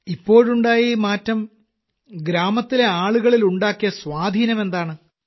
ഇപ്പോഴുണ്ടായ ഈ മാറ്റം ഗ്രാമത്തിലെ ആളുകളിലുണ്ടാക്കിയ സ്വാധീനമെന്താണ്